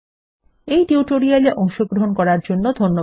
এই টিউটোরিয়াল এ অংশগ্রহন করার জন্য ধন্যবাদ